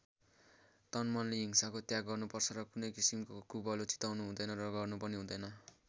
तनमनले हिंसाको त्याग गर्नुपर्छ र कुनै किसिमको कुभलो चिताउनु हुँदैन र गर्नु पनि हुँदैन।